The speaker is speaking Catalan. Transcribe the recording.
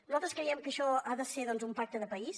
nosaltres creiem que això ha de ser doncs un pacte de país